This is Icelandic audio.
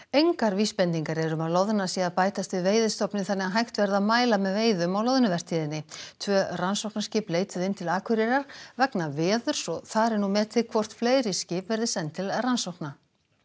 engar vísbendingar eru um að loðna sé að bætast við veiðistofninn þannig að hægt verði að mæla með veiðum á loðnuvertíðinni tvö rannsóknarskip leituðu inn til Akureyrar vegna veðurs og þar er nú metið hvort fleiri skip verði send til rannsókna